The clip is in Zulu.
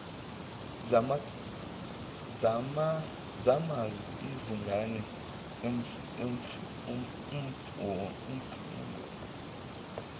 zamaz inga emfundo